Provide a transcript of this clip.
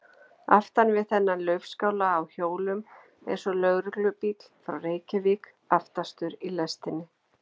Aftan við þennan laufskála á hjólum er svo lögreglubíll frá Reykjavík, aftastur í lestinni.